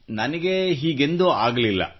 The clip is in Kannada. ನನಗೆ ಹೀಗೆಂದೂ ಆಗಲಿಲ್ಲ